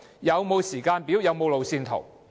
有否時間表和路線圖？